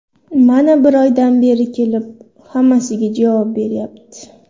Mana bir oydan beri kelib, hammasiga javob beryapti.